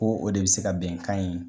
Ko o de bɛ se ka bɛnkan in